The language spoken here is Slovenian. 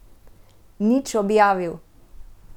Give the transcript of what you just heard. Nič objavil.